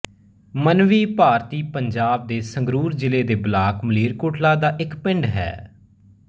ਮੰਨਵੀ ਭਾਰਤੀ ਪੰਜਾਬ ਦੇ ਸੰਗਰੂਰ ਜ਼ਿਲ੍ਹੇ ਦੇ ਬਲਾਕ ਮਲੇਰਕੋਟਲਾ ਦਾ ਇੱਕ ਪਿੰਡ ਹੈ